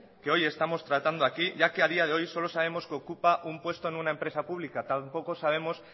que hoy estamos tratando aquí ya que a día de hoy solo sabemos que ocupa un puesto en una empresa pública tampoco sabemos